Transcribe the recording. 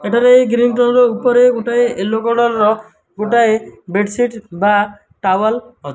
ଏଠାରେ green colour ଉପରେ ଗୋଟାଏ ଏଲୋ କଲର୍ ଗୋଟାଏ ବେଡ ସିଟ୍ ବା ଟାୱେଲ ଅଛି।